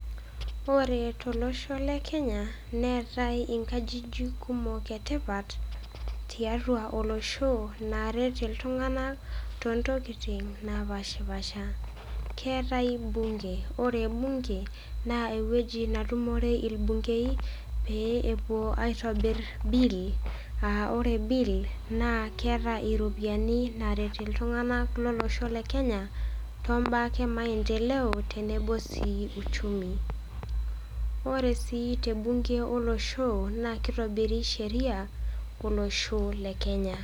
Ore tolosho le Kenya, neatai inkajijik kumok e tipat, tiatua olosho, naaret iltung'anak too ntokitin napaashipaasha. Kearai bunge, ore bunge, naa ewueji natumore ilbungei, pee epuo aitobir bill, aa ore bill naa keata iropiani, naaret iltung'ana lolosho le Kenya, too imbaa ake e maindeleo tenebo sii uchumi. Ore sii te bunge lolosho naa keitobiri sheria, olosho le Kenya.